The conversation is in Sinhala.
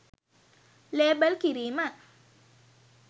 ලේබල් කිරීම